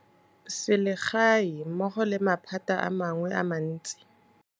Sele gae mmogo le maphata a mangwe a mantsi.